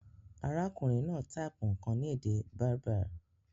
Arákùnrin náà type nkàn ni èdè Berber